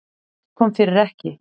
Allt kom fyrir ekki.